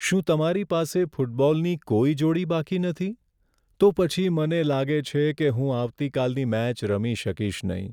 શું તમારી પાસે ફૂટબોલની કોઈ જોડી બાકી નથી? તો પછી મને લાગે છે કે હું આવતીકાલની મેચ રમી શકીશ નહીં.